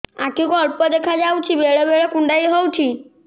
ଆଖି କୁ ଅଳ୍ପ ଦେଖା ଯାଉଛି ବେଳେ ବେଳେ କୁଣ୍ଡାଇ ହଉଛି